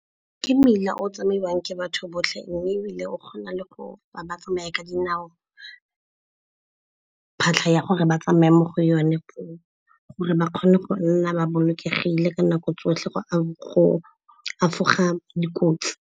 Me mmila o tsamaiwang ke batho botlhe mme ebile o kgona le go ba tsamaya ka dinao phatlha ya gore ba tsamaya mo go yone, gore ba kgone go nna ba bolokegile ka nako tsotlhe go efoga dikotsi.